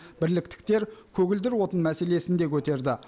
бірліктіктер көгілдір отын мәселесін де көтерді